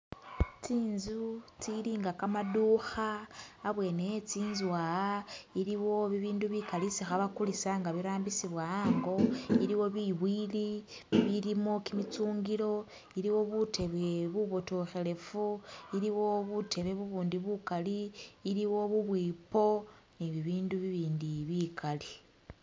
Tsinzu tsilinga gamadukha, habwene hezinzu ha iliwo bibindu bigali isi khabagulisa nga khabirambisiwa hango iliwo biwili bibilimo gimichungilo iliwo butebe bubodokelefu, iliwo butebe bubundi bugali iliwo bubwipo nibindu bibindi bigali.